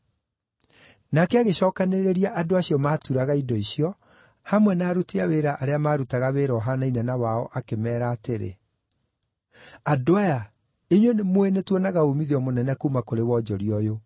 Nake agĩcookanĩrĩria andũ acio maaturaga indo icio, hamwe na aruti a wĩra arĩa maarutaga wĩra ũhaanaine na wao, akĩmeera atĩrĩ, “Andũ aya, inyuĩ nĩmũũĩ nĩtuonaga uumithio mũnene kuuma kũrĩ wonjoria ũyũ.